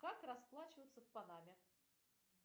как расплачиваться в панаме